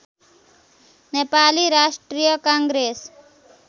Nepali Rashtriya Congress